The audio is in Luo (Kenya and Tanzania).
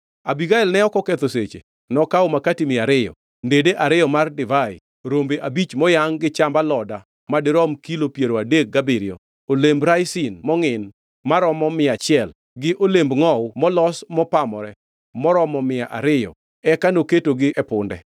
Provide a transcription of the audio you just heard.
Abigael ne ok oketho seche. Nokawo makati mia ariyo, ndede ariyo mar divai, rombe abich moyangʼ gi chamb aloda madirom kilo piero adek gabiriyo, olemb raisin mongʼin maromo mia achiel, gi olemb ngʼowu molos mopamore moromo mia ariyo, eka noketogi e punde.